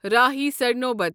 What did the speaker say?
راہی سرنوبت